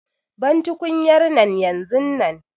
Ban tukunyar nan yanzun nan!